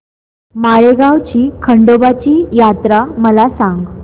माळेगाव ची खंडोबाची यात्रा मला सांग